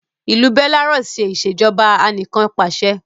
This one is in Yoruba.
ilú Belarus ṣe Ìṣèjọba Anìkanpàṣẹ